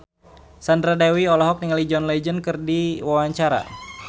Sandra Dewi olohok ningali John Legend keur diwawancara